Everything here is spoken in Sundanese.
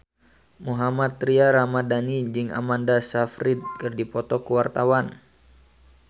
Mohammad Tria Ramadhani jeung Amanda Sayfried keur dipoto ku wartawan